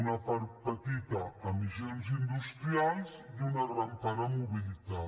una part petita a emissions industrials i una gran part a mobilitat